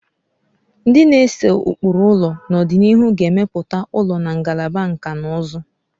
Ndị na-ese ụkpụrụ ụlọ n'ọdịnihu ga-emepụta ụlọ na Ngalaba Nkà na ụzụ